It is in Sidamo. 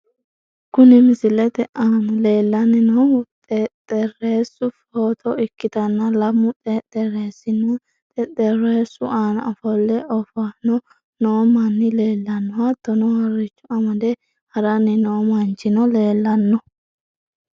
Kuni misilete aana lellanni noohu xeexxerisu footo ikktanna lamu xexxerisinna xexxerisu aana ofo'le oofanni noo manni leellanno .hattono harricho amade haranni noo manchino leellanno.